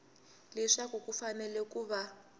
leswaku ku fanele ku va